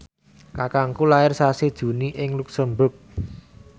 kakangku lair sasi Juni ing luxemburg